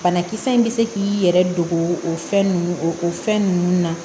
Banakisɛ in bɛ se k'i yɛrɛ dogo o fɛn ninnu o fɛn ninnu na